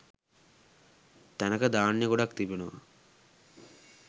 තැනක ධාන්‍ය ගොඩක් තිබෙනවා.